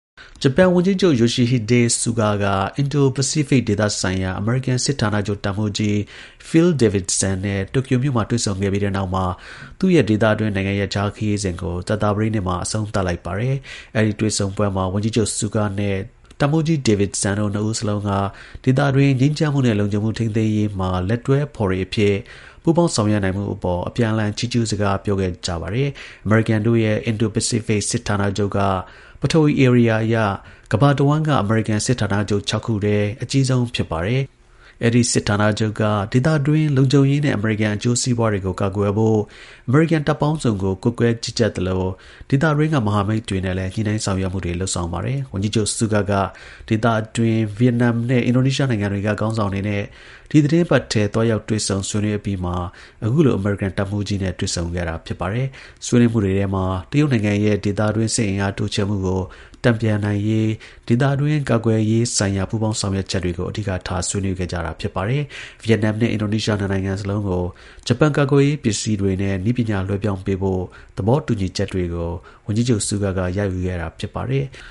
ဂျပန်ဝန်ကြီးချုပ် Yoshihide Suga က အင်ဒို-ပစိဖိတ်ဒေသဆိုင်ရာ အမေရိကန် စစ်ဌာနချုပ် တပ်မှူးကြီး Phil Davidson နဲ့ တိုကျို မြို့မှာ တွေ့ဆုံပြီးတဲ့နောက် သူ့ရဲ့ ဒေသတွင်း နိုင်ငံရပ်ခြား ခရီးစဉ်ကို ကြာသပတေးနေ့မှာ အဆုံးသတ်လိုက်ပါတယ်။ အဲဒီတွေ့ဆုံပွဲမှာ ဝန်ကြီးချုပ် Suga နဲ့တပ်မှူးကြီး Davidson တို့နှစ်ဦးစလုံးက ဒေသတွင်း ငြိမ်းချမ်းမှုနဲ့လုံခြုံမှု ထိန်းသိမ်းရေးမှာလက်တွဲ ဖော်တွေ အဖြစ် ပူးပေါင်း ဆောင်ရွက်နိုင်မှုအပေါ် အပြန်အလှန် ချီးကျူးစကား ပြောခဲ့ကြပါတယ်။ အမေရိကန်တို့ရဲ့ အင်ဒို-ပစိဖိတ် စစ်ဌာနချုပ်ဟာ ပထဝီ ဧရိယာအရ ကမ္ဘာတစ်ဝှမ်းက အမေရိကန် စစ်ဌာနချုပ် ၆ ခုထဲ အကြီးဆုံး ဖြစ်ပါတယ်။ အဲဒီ စစ်ဌာနချုပ်က ဒေသတွင်း လုံခြုံရေးနဲ့ အမေရိကန် အကျိုးစီးပွားတွေကို ကာကွယ်ဖို့ အမေရိကန် တပ်ပေါင်းစုံကို ကွပ်ကဲ ကြီးကြပ်သလို ဒေသတွင်းက မဟာမိတ်တွေနဲ့လည်း ညှိနှိုင်းဆောင်ရွက်မှုတွေ လုပ်ဆောင်ပါတယ်။ ဝန်ကြီးချုပ် Suga က ဒေသတွင်း ဗီယက်နမ်နဲ့ အင်ဒိုနီးရှားနိုင်ငံတွေက ခေါင်းဆောင်တွေနဲ့ ဒီသီတင်းပတ်အထဲ သွားရောက်တွေ့ဆုံ ဆွေးနွေး အပြီးမှာ အခုလို အမေရိကန်တပ်မှူးကြီးနဲ့ တွေ့ဆုံခဲ့တာ ဖြစ်ပါတယ်။ဆွေးနွေးပွဲတွေမှာ တရုတ်နိုင်ငံရဲ့ ဒေသတွင် စစ်အင်အား တိုးချဲ့မှုကိုတန်ပြန်ရေးဒေသတွင်း ကာကွယ်ရေးဆိုင်ရာပူးပေါင်းဆောင်ရွက် ရေးကို အဓိက ဆွေးနွေးခဲ့တာပါ။ ဗီယက်နမ်နဲ့ အင်ဒိုနီးရှား ၂ နိုင်ငံစလုံးကို ဂျပန် ကာကွယ်ရေး ပစ္စည်းတွေနဲ့ နည်းပညာ လွှဲပြောင်းပေးဖို့ သဘောတူညီချက်တွေကို ဝန်ကြီးချုပ် Suga က ရယူခဲ့တာ ဖြစ်ပါတယ်။